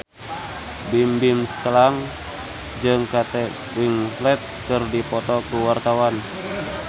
Bimbim Slank jeung Kate Winslet keur dipoto ku wartawan